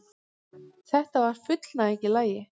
Þetta var fullnæging í lagi.